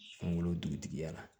Kunkolo dugutigiya la